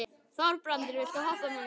Þorbrandur, viltu hoppa með mér?